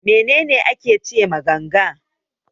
Menene ake ce ma ganga?